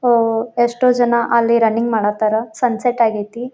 ಓಹ್ಹ್ ಎಷ್ಟೋ ಜನ ಅಲ್ಲಿ ರನ್ನಿಂಗ್ ಮಾಡೋ ತರ ಸನ್ಸೆಟ್ ಆಗೈತಿ.